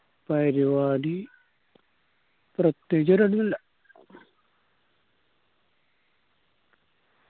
പരുവാടി പ്രത്യേകിച്ച് പരുവാടി ഒന്നില്ല